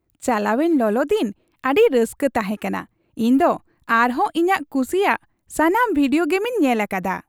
ᱪᱟᱞᱟᱣᱮᱱ ᱞᱚᱞᱚ ᱫᱤᱱ ᱟᱹᱰᱤ ᱨᱟᱹᱥᱠᱟᱹ ᱛᱟᱦᱮᱠᱟᱱᱟ ᱾ ᱤᱧ ᱫᱚ ᱟᱨᱦᱚᱸ ᱤᱧᱟᱜ ᱠᱩᱥᱤᱭᱟᱜ ᱥᱟᱱᱟᱢ ᱵᱷᱤᱰᱤᱭᱳ ᱜᱮᱢᱤᱧ ᱠᱷᱮᱞ ᱟᱠᱟᱫᱟ ᱾